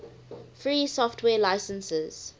free software licenses